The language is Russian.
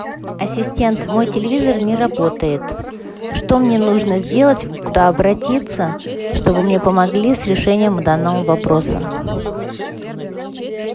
ассистент мой телевизор не работает что мне нужно сделать куда обратиться чтобы мне помогли с решением данного вопроса